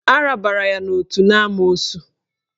Arabara ya n'otu n'amoosu